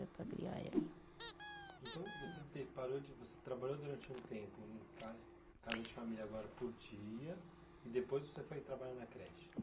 Para criar ela. Então, você teve parou de, você trabalhou durante um tempo em ca, casa de família, agora por dia, e depois você foi trabalhar na creche?